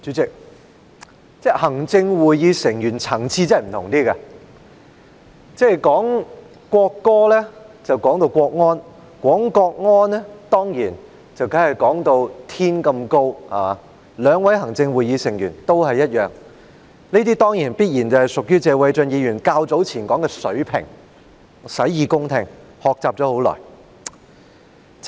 主席，行政會議成員的層次真的不一樣，討論國歌便提到國安，討論國安時當然要把事情說得像天一般高，兩位行政會議成員都一樣，這必然屬謝偉俊議員較早前說的"水平"，我洗耳恭聽，定當好好學習。